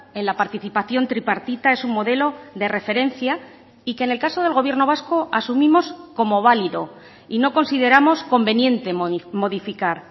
en la participación tripartita es un modelo de referencia y que en el caso del gobierno vasco asumimos como válido y no consideramos conveniente modificar